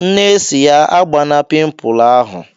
Nne si ya "Agbana pịmpul ahụ!"